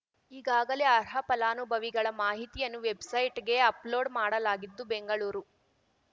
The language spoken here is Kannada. ಈಗಾಗಲೇ ಅರ್ಹ ಫಲಾನುಭವಿಗಳ ಮಾಹಿತಿಯನ್ನು ವೆಬ್‌ಸೈಟ್‌ಗೆ ಅಪ್‌ಲೋಡ್‌ ಮಾಡಲಾಗಿದ್ದು ಬೆಂಗಳೂರು